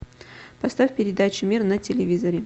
поставь передачу мир на телевизоре